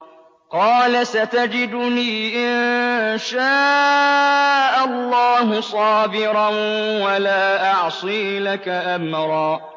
قَالَ سَتَجِدُنِي إِن شَاءَ اللَّهُ صَابِرًا وَلَا أَعْصِي لَكَ أَمْرًا